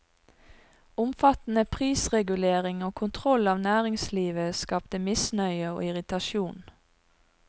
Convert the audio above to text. Omfattende prisregulering og kontroll av næringslivet skapte misnøye og irritasjon.